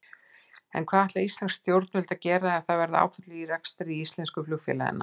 En hvað ætla íslensk stjórnvöld að gera ef það verða áföll í rekstri íslensku flugfélaganna?